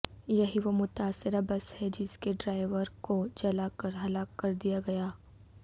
یہی وہ متاثرہ بس ہے جس کے ڈرائیور کو جلا کر ہلاک کر دیا گیا